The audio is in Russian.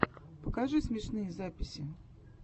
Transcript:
покажи смешные записи